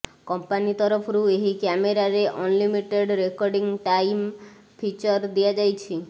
company ତରଫରୁ ଏହି କ୍ୟାମେରାରେ ଅନ୍ଲିିମିଟେଡ୍ ରେକଡିଂ ଟାଇମ୍ ଫିଚର ଦିଆଯାଇଛି